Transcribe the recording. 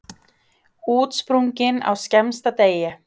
Útsprungin á skemmsta degi.